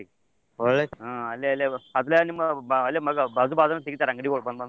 ಒಳ್ಳೇದ ಹಾ ಅಲ್ಲೇ ಅಲ್ಲೇ ನಿಮಗ ಬಾಜೂ ಬಾಜೂನ ತಾಗಿತರ್ ಅಂಗ್ಡಿಗಳ್ ಬಂದ್ ಬಂದ್.